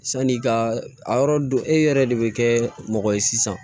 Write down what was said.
Sani ka a yɔrɔ don e yɛrɛ de bɛ kɛ mɔgɔ ye sisan